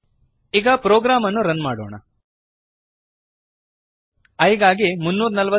ಕ್ಯಾನ್ವಾಸಿನ ಮೇಲೆ ಟರ್ಟಲ್ ಕಾಣದ ಹಾಗೆ ಮಾಡುತ್ತದೆ ಈಗ ಪ್ರೋಗ್ರಾಮ್ ಅನ್ನು ರನ್ ಮಾಡೋಣ